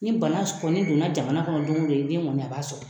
Ni bana kɔni don na jamana kɔnɔ don o don i den kɔni a b'a sɔrɔ.